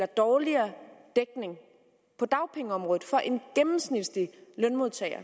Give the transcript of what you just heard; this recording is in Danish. dårligere dækning på dagpengeområdet for en gennemsnitlig lønmodtager